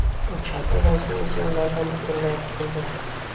Uch haftadan so‘ng esa ulardan butunlay qutuldim.